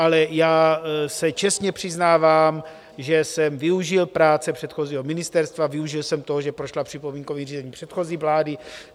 Ale já se čestně přiznávám, že jsem využil práce předchozího ministerstva, využil jsem toho, že prošla připomínkovým řízením předchozí vlády.